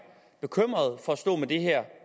bekymret for at stå med det her